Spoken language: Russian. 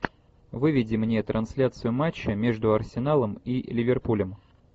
выведи мне трансляцию матча между арсеналом и ливерпулем